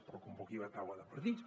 però convoqui la taula de partits